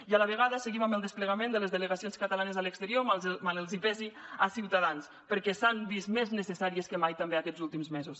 i a la vegada seguim amb el desplegament de les delegacions catalanes a l’exterior mal els pesi a ciutadans perquè s’han vist més necessàries que mai també aquests últims mesos